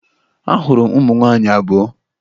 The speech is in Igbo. Ahụrụ m ụmụ nwaanyị abụọ